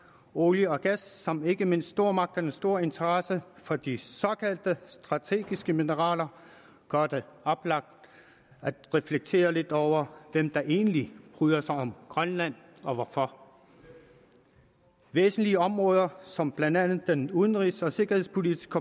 olie og gas samt ikke mindst stormagternes store interesse for de såkaldt strategiske mineraler gør det oplagt at reflektere lidt over hvem der egentlig bryder sig om grønland og hvorfor væsentlige områder som blandt andet udenrigs og sikkerhedspolitik